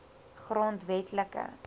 grondwetlike